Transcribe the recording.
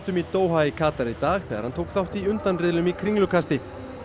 í Doha í Katar í dag þegar hann tók þátt í undanriðlum í Kringlukasti það